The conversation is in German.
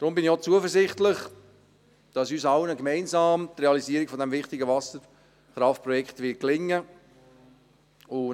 Darum bin ich auch zuversichtlich, dass uns allen gemeinsam die Realisierung dieses wichtigen Wasserkraftprojekts gelingen wird.